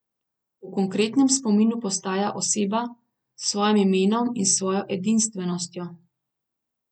V konkretnem spominu postaja oseba, s svojim imenom in s svojo edinstvenostjo.